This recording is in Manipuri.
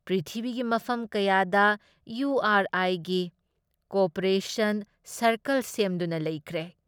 ꯄ꯭ꯔꯤꯊꯤꯕꯤꯒꯤ ꯃꯐꯝ ꯀꯌꯥꯗ ꯏꯌꯨ ꯑꯥꯔ ꯑꯥꯏꯒꯤ ꯀꯣꯑꯣꯄꯔꯦꯁꯟ ꯁꯥꯔꯀꯜ ꯁꯦꯝꯗꯨꯅ ꯂꯩꯈ꯭ꯔꯦ ꯫